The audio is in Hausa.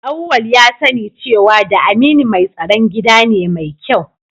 Auwal ya sani cewa da Aminu mai tsaron gida ne mai kyau